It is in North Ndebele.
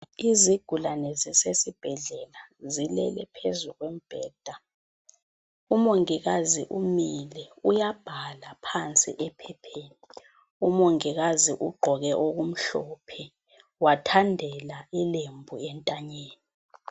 Izigulane zisesibhedlela zilele phezu kombheda Umongikazi umile uyabhala phansi ephepheni. Umongikazi ugqoke okumhlophe. Wathandela ilembu entanyeni.